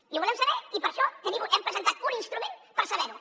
i ho volem saber i per això hem presentat un instrument per saber ho